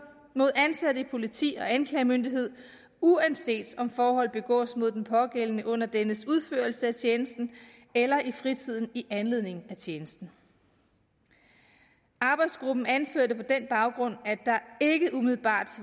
mod ansatte i politi og anklagemyndighed uanset om forholdet begås mod den pågældende under dennes udførelse af tjenesten eller i fritiden i anledning af tjenesten arbejdsgruppen anførte på den baggrund at der ikke umiddelbart